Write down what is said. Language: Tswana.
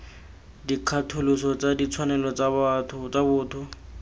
dikgatholoso tsa ditshwanelo tsa botho